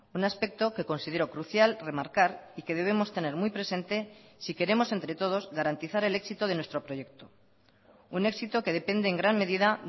un aspecto que considero crucial remarcar y que debemos tener muy presente si queremos entre todos garantizar el éxito de nuestro proyecto un éxito que depende en gran medida